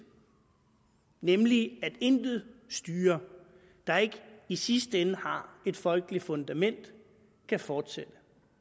nemlig sådan at intet styre der ikke i sidste ende har et folkeligt fundament kan fortsætte